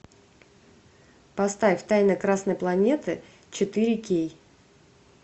поставь тайны красной планеты четыре кей